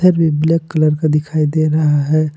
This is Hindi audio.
भी ब्लैक कलर का दिखाई दे रहा है।